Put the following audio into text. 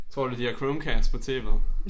Tror du de har Chromecast på tv'et?